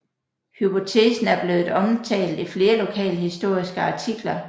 Hypotesen er blevet omtalt i flere lokalhistoriske artikler